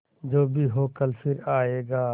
जो भी हो कल फिर आएगा